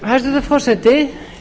hæstvirtur forseti